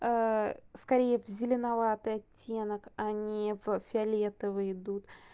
скорее в зеленоватый оттенок а не в фиолетовые идут